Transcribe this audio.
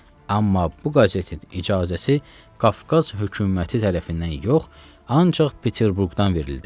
Amma bu qəzetin icazəsi Qafqaz hökuməti tərəfindən yox, ancaq Peterburqdan verildi.